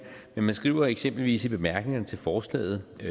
men man skriver eksempelvis i bemærkningerne til forslaget